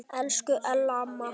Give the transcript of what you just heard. Elsku Ella amma.